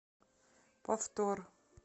повтор